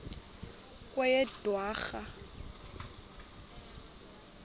kweyedwarha